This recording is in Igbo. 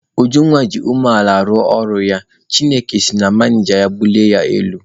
Ujunwa ji umeala na-arụ ọrụ ya, Chineke si na manịja ha bulie ya elu.